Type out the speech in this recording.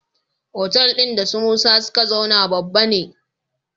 Otal din da su musa suka zauna babba ne